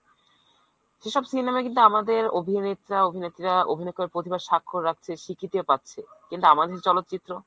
সেসব cinema য় কিন্তু আমাদের অভিনেতা অভিনেত্রীরা অভিনয় করে প্রতিভার সাক্ষর রাখছে, স্বীকৃতিও পাচ্ছে কিন্তু আমাদের দেশের চলচিত্র